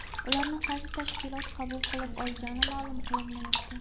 Ularni qaysi tashkilot qabul qilib olgani ma’lum qilinmayapti.